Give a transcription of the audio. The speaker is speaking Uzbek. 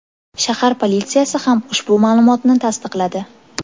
Shahar politsiyasi ham ushbu ma’lumotni tasdiqladi.